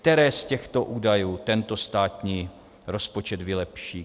Které z těchto údajů tento státní rozpočet vylepší?